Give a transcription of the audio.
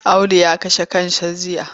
Audu ya kashe kansa jiya.